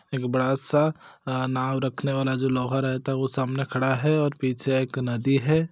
एक बड़ा सा अ नाव रखने वाला जो लोहा रहता है वो सामने खड़ा है और पीछे एक नदी है।